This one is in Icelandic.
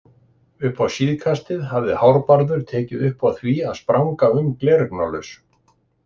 Upp á síðkastið hafði Hárbarður tekið upp á því að spranga um gleraugnalaus.